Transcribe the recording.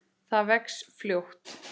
Það vex fljótt.